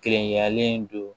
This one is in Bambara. Kerenyalen don